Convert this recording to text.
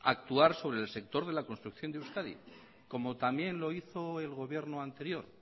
actuar sobre el sector de la construcción de euskadi como también lo hizo el gobierno anterior